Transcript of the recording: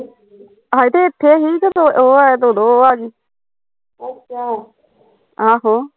ਹਜੇ ਤੇ ਇੱਥੇ ਹੀਂ ਸੀ ਉਹ ਆਇਆ ਤੇ ਉਦੋਂ ਉਹ ਆਗੀ ਆਹੋ